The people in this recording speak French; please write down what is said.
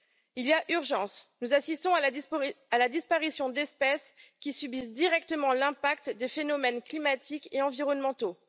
Il y a urgence nous assistons à la disparition d'espèces qui subissent directement l'impact des phénomènes climatiques et environnementaux.